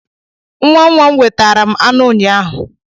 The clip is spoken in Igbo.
Nwa nwa m wetara m anụ ụnyaahụ.